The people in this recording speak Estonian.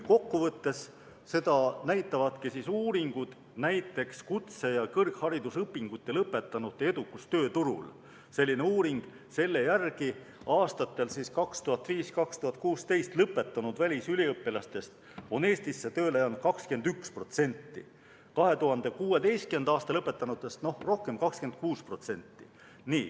Kokkuvõttes näitavadki uuringud, näiteks "Kutse- ja kõrgharidusõpingute lõpetanute edukus tööturul", et aastatel 2005–2016 lõpetanud välisüliõpilastest on Eestisse tööle jäänud 21%, 2016. aastal lõpetanutest rohkem, 26%.